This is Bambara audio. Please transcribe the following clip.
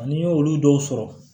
Ani olu dɔw sɔrɔ